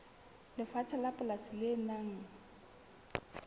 lefatshe la polasi le nang